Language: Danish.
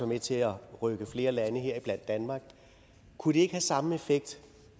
med til at rykke flere lande heriblandt danmark kunne det ikke have samme effekt